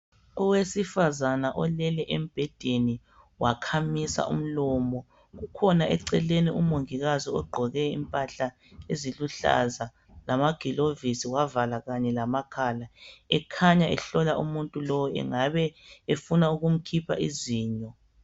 Owesifazana olele embhedeni wakhamisa umlomo kukhona eceleni umongikazi ogqoke impahla eziluhlaza lamagilovisi wavala kanye lama makhala ekhanya ehlola umuntu lowu engabe efuna ukumkhipha izinyo.